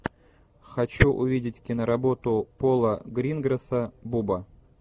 хочу увидеть киноработу пола гринграсса буба